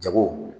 Jago